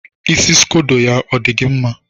Isi scodo ya, ọ dị gị mma?